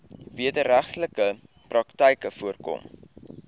wederregtelike praktyke voorkom